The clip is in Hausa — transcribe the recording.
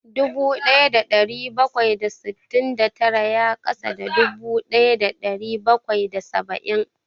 Dubu ɗaya da ɗari bakwai da sittin da tara ya ƙasa da dubu ɗaya da ɗari bakwai da saba'in